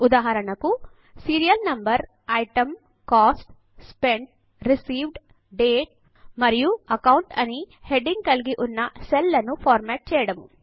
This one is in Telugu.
ఉదాహరణకు serial number item cost spent received date మరియు అకౌంట్ అని హెడింగ్ కలిగి ఉన్న సెల్ లను ఫార్మాట్ చేయడం